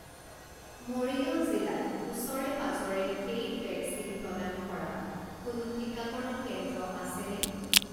মৰিগাঁও জিলাত ওচৰে পাঁজৰে পেইড ভেকচিন প্ৰদান কৰা কোনো টিকাকৰণ কেন্দ্ৰ আছেনে?